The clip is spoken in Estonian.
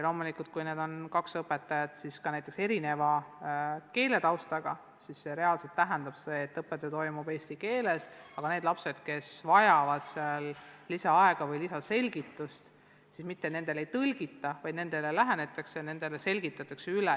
Loomulikult, kui need kaks õpetajat on erineva keeletaustaga, siis see reaalselt tähendab, et õppetöö toimub eesti keeles, aga kui mõni laps vajab lisaaega või lisaselgitust, siis talle mitte ei tõlgita kõike ära, vaid talle selgitatakse asi üle.